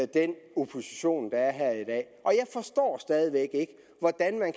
den opposition der er her i dag og jeg forstår stadig væk ikke hvordan man